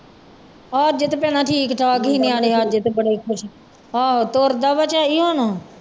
ਹਜੇ ਤੇ ਭੈਣਾਂ ਠੀਕ ਠਾਕ ਸੀ ਨਿਆਣੇ ਅੱਜ ਤੇ ਬੜੇ ਖੁਸ਼, ਆਹੋ ਤੁਰਦਾ ਵਾ ਝਾਈ ਹੁਣ।